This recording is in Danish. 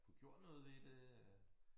Få gjort noget ved det øh